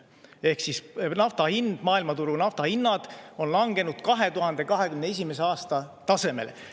Ehk siis maailmaturu nafta hinnad on langenud 2021. aasta tasemele.